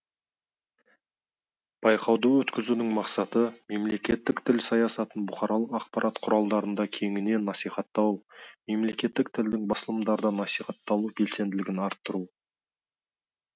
байқауды өткізудің мақсаты мемлекеттік тіл саясатын бұқаралық ақпарат құралдарында кеңінен насихаттау мемлекеттік тілдің басылымдарда насихатталу белсенділігін арттыру